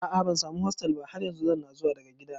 A'a bansamu hostel ba har yanzu, zanna zuwa daga gida